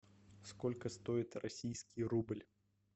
сколько стоит российский рубль